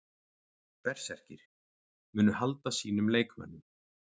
Berserkir: Munu halda sínum leikmönnum.